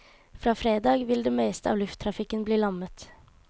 Fra fredag vil det meste av lufttrafikken bli lammet.